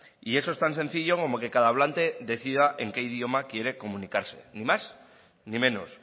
y eso es tan sencillo como que cada hablante decida en qué idioma quiere comunicarse ni más ni menos